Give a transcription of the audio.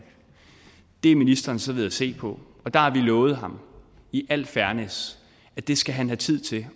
det er ministeren så ved at se på og der har vi lovet ham i al fairness at det skal han have tid til at